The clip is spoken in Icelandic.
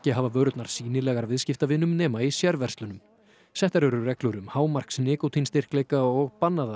hafa vörurnar sýnilegar viðskiptavinum í sérverslunum settar eru reglur um hámarksnikótínstyrkleika og bannað að